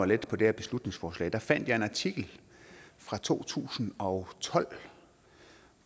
lidt på det her beslutningsforslag fandt jeg en artikel fra to tusind og tolv